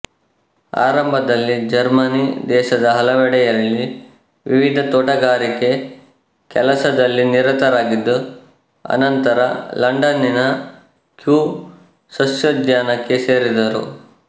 ಆರಂಭದಲ್ಲಿ ಜರ್ಮನಿ ದೇಶದ ಹಲವೆಡೆ ಯಲ್ಲಿ ವಿವಿಧ ತೋಟಗಾರಿಕೆ ಕೆಲಸದಲ್ಲಿ ನಿರತರಾಗಿದ್ದು ಅನಂತರ ಲಂಡನ್ನಿನ ಕ್ಯೂ ಸಸ್ಯೋದ್ಯಾನಕ್ಕೆ ಸೇರಿದರು